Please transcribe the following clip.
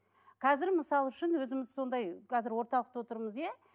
қазір мысалы үшін өзіміз сондай қазір орталықта отырмыз иә